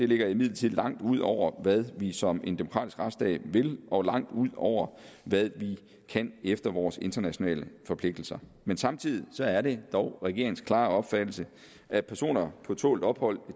ligger imidlertid langt ud over hvad vi som en demokratisk retsstat vil og langt ud over hvad vi kan efter vores internationale forpligtelser men samtidig er det dog regeringens klare opfattelse at personer på tålt ophold